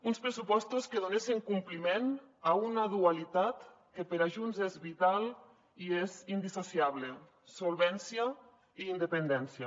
uns pressupostos que donessin compliment a una dualitat que per a junts és vital i és indissociable solvència i independència